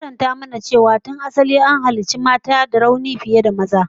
An karanta mana cewa tun asali an halicci mata da rauni fiye da maza